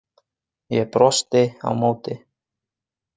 Ég brosti á móti.